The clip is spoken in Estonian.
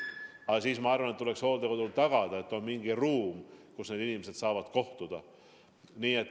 Aga siis, ma arvan, tuleks hooldekodul tagada, et on mingi ruum, kus inimesed saavad kohtuda.